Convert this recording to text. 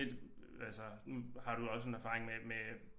Lidt altså nu har du også en erfaring med med